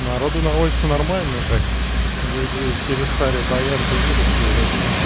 народу на улице нормально так люди перестали бояться вируса выдать